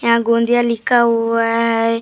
यहाँ गोंदिया लिखा हुआ है।